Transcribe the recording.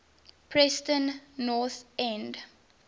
preston north end